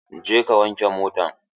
Je ka wanke motan!